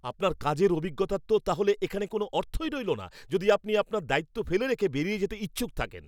আপনার কাজের অভিজ্ঞতার তো তাহলে এখানে কোনও অর্থই রইল না যদি আপনি আপনার দায়িত্ব ফেলে রেখে বেরিয়ে যেতে ইচ্ছুক থাকেন।